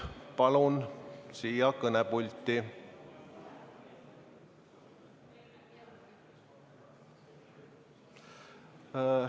Palun teid siia kõnepulti!